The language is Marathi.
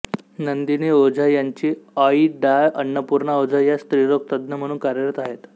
नंदिनी ओझा यांची आई डॉ अन्नपूर्णा ओझा या स्त्रीरोगतज्ज्ञ म्हणून कार्यरत आहेत